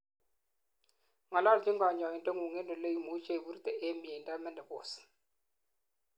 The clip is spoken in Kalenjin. ngololchin kanyoindetngung en ole imuchei iburte en mieindo menopause